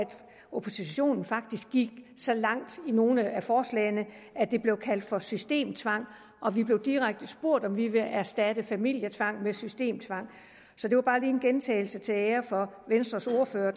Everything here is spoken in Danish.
oppositionen faktisk gik så langt i nogle af forslagene at det blev kaldt for systemtvang og vi blev direkte spurgt om vi ville erstatte familietvang med systemtvang det var bare en gentagelse til ære for venstres ordfører